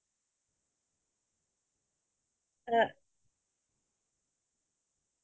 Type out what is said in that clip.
তুমিও ভালে থাকা আগন্তুক দিনৰ কাৰণে তুমাক শুভেচ্ছা জ্নালো